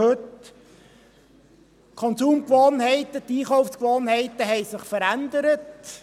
Die Konsum- und Einkaufsgewohnheiten haben sich verändert.